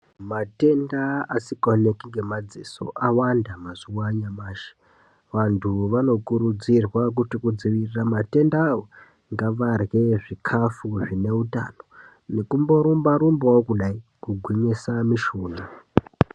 Matenda asikaoneki ngemadziso awanda mazuwa anyamashi. Vantu vanokurudzirwa kuti kudzivirira matenda awa ngavarye zvikafu zvine utano nekumborumba rumbawo kudai kugwinyisa mishuna.